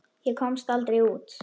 Ég komst aldrei út.